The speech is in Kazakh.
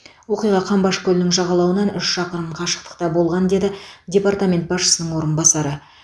оқиға қамбаш көлінің жағалауынан үш шақырым қашықтықта болған деді департамент басшысының орынбасары